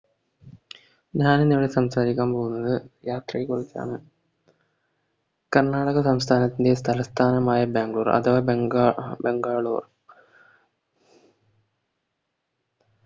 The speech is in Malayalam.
ഞാനിന്നിവിടെ സംസാരിക്കാൻ പോകുന്നത് യാത്രയെക്കുറിച്ചാണ് കർണാടക സംസ്ഥാനത്തിലെ തലസ്ഥാനമായ ബാംഗ്ലൂർ അഥവാ ബംഗ്ലാ ബംഗാളൂർ